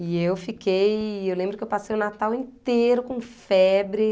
E eu fiquei... Eu lembro que eu passei o Natal inteiro com febre.